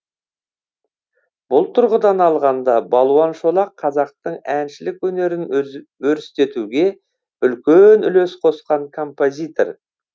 бұл тұрғыдан алғанда балуан шолақ қазақтың әншілік өнерін өрістетуге үлкен үлес қосқан композитор